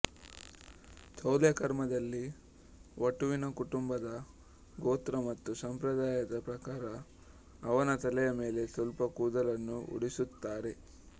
ಚೌಲ ಕರ್ಮದಲ್ಲಿ ವಟುವಿನ ಕುಟುಂಬದ ಗೋತ್ರ ಮತ್ತು ಸಂಪ್ರದಾಯದ ಪ್ರಕಾರ ಅವನ ತಲೆಯ ಮೇಲೆ ಸ್ವಲ್ಪ ಕೂದಲನ್ನು ಉಳಿಸುತ್ತಾರೆ